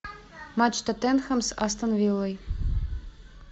матч тоттенхэм с астон виллой